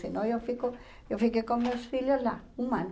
Se não, eu fico eu fiquei com meus filhos lá, um ano.